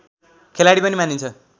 खेलाडी पनि मानिन्छ